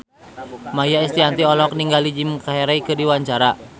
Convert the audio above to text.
Maia Estianty olohok ningali Jim Carey keur diwawancara